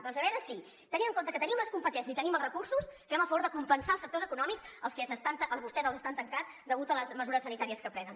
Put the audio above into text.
doncs a veure si tenint en compte que tenim les competències i tenim els recursos fem el favor de compensar els sectors econòmics els que vostès estan tancant degut a les mesures sanitàries que prenen